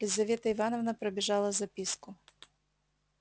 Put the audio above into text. лизавета ивановна пробежала записку